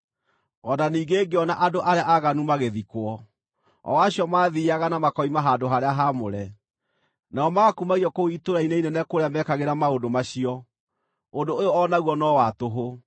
O na ningĩ ngĩona andũ arĩa aaganu magĩthikwo, o acio maathiiaga na makoima handũ-harĩa-haamũre, nao magakumagio kũu itũũra-inĩ inene kũrĩa meekagĩra maũndũ macio. Ũndũ ũyũ o naguo no wa tũhũ.